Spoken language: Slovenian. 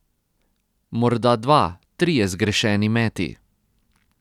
Morda dva, trije zgrešeni meti ...